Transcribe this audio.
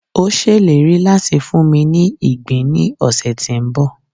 o ṣèlérí láti funmi ní ìgbín ni ọsẹ ti nbọ